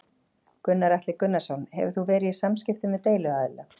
Gunnar Atli Gunnarsson: Hefur þú verið í samskiptum við deiluaðila?